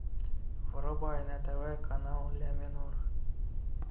врубай на тв канал ля минор